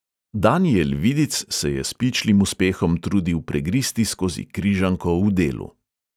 Danijel vidic se je s pičlim uspehom trudil pregristi skozi križanko v delu.